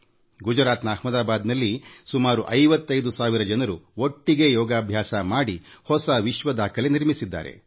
ಗುಜರಾತ್ ನ ಅಹ್ಮದಾಬಾದ್ನಲ್ಲಿ ಸುಮಾರು 55 ಸಾವಿರ ಜನರು ಒಟ್ಟಿಗೇ ಯೋಗ ಮಾಡಿ ಹೊಸ ವಿಶ್ವ ದಾಖಲೆ ನಿರ್ಮಿಸಿದರು